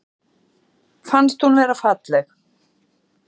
Fannst hún vera falleg